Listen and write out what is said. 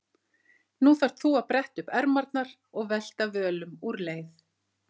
Nú þarft þú að bretta upp ermarnar og velta völum úr leið.